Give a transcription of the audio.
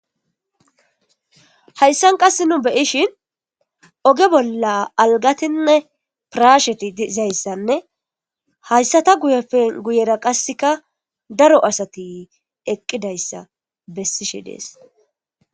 hayssan qasse nu be'ishshin oge bolla algatinne pirashsheti de'zayssanne hayssata guyppe guyera qassikka daro assatti eqqidayssa bessishshi dees